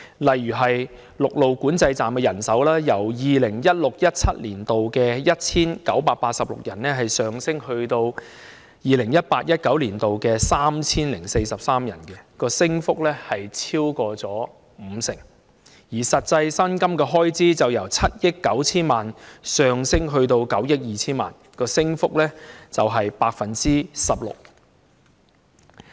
例如陸路管制站的人手，就由 2016-2017 年度的 1,986 人，上升至 2018-2019 年度的 3,043 人，升幅超過五成，而實際薪金的開支則由7億 9,000 萬元上升至9億 2,000 萬元，升幅為 16%。